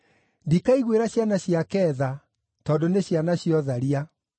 Ndikaiguĩra ciana ciake tha, tondũ nĩ ciana cia ũtharia.